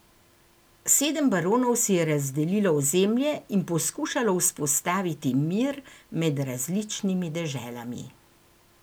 Sedem baronov si je razdelilo ozemlje in poskušalo vzpostaviti mir med različnimi deželami.